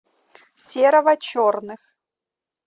серого черных